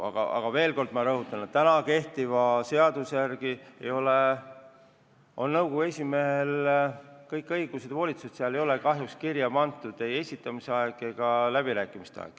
Aga ma veel kord rõhutan, et kehtiva seaduse järgi on nõukogu esimehel kõik õigused ja volitused, seal ei ole kahjuks kirja pandud ei nõukogu liikmete esitamise aeg ega läbirääkimiste aeg.